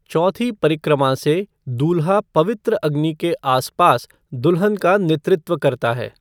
चौथी परिक्रमा से, दूल्हा पवित्र अग्नि के आसपास दुल्हन का नेतृत्व करता है।